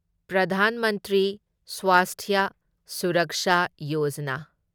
Pradhan Mantri Swasthya Suraksha Yojana